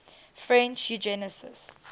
french eugenicists